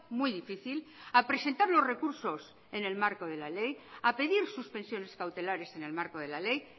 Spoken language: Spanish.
muy difícil a presentar los recursos en el marco de la ley a pedir suspensiones cautelares en el marco de la ley